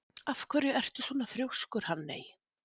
Af hverju ertu svona þrjóskur, Hanney?